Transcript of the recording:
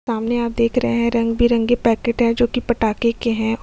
सामने आप देख रहें है रंग बिरंगे पैकेट हैं जोकि पटाखे के हैं।